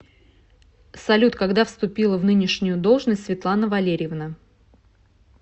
салют когда вступила в нынешнюю должность светлана валерьевна